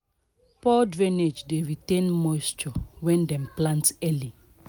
poor drainage dey retain moisture when dem plant early."